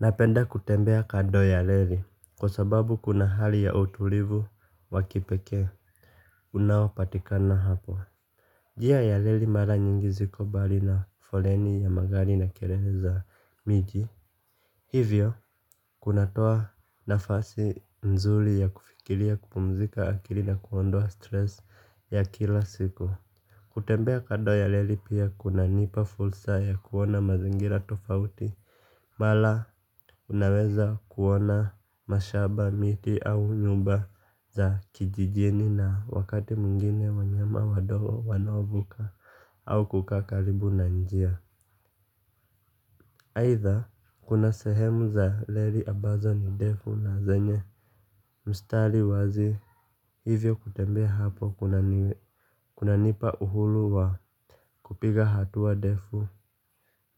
Napenda kutembea kando ya reli kwa sababu kuna hali ya utulivu wakipekee unao patikana hapo njia ya leli mara nyingi ziko mbali na foleni ya magari na kilele za miji. Hivyo kunatoa nafasi nzuri ya kufikiria kupumzika akili na kuondoa stresi ya kila siku. Kutembea kando ya leli pia kuna nipa fursa ya kuona mazingira tofauti. Mara unaweza kuona mashamba miti au nyumba za kijijini na wakati mwingine wanyama wadogo wanaovuka au kukaa karibu na njia aitha kuna sehemu za reli ambazo ni ndefu na zenye mstari wazi. Hivyo kutembea hapo kunanipa uhuru wa kupiga hatua ndefu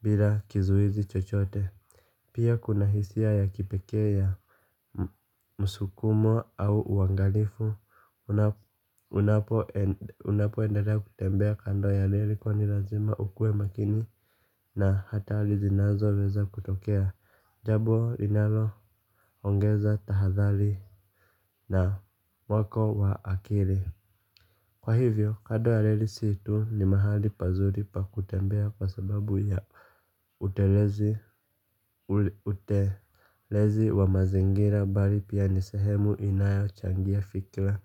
bila kizuizi chochote. Pia kuna hisia ya kipekee ya msukumo au uangalifu, unapo endelea kutembea kando ya reli kwani lazima ukue makini. Na hatari zinazo weza kutokea, jabo linalo ongeza tahadhari na wako wa akili. Kwa hivyo kando ya reli sti tu ni mahali pazuri pa kutembea kwa sababu ya utelezi wa mazingira mbali pia ni sehemu inayo changia fikra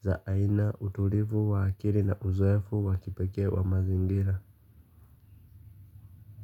za aina utulivu wa akili na uzoefu wa kipekee wa mazingira.